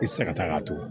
I tɛ se ka taa k'a to